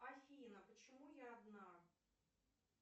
афина почему я одна